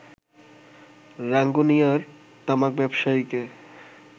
রাঙ্গুনিয়ার তামাক ব্যবসায়ীকে